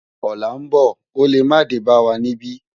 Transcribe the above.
Òlá n bò ó lé má dé bá wá nibi